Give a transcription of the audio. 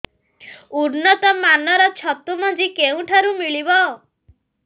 ଉନ୍ନତ ମାନର ଛତୁ ମଞ୍ଜି କେଉଁ ଠାରୁ ମିଳିବ